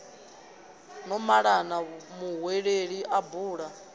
no malana muhweleli a bula